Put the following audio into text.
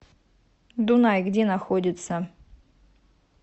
дунай где находится